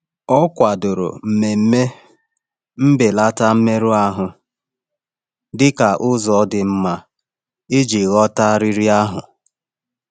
Ọ kwadoro mmemme mbelata mmerụ ahụ dị ka ụzọ dị mma iji ghọta riri ahụ.